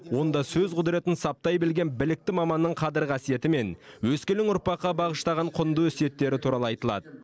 онда сөз құдіретін саптай білген білікті маманның қадір қасиеті мен өскелең ұрпаққа бағыштаған құнды өсиеттері туралы айтылады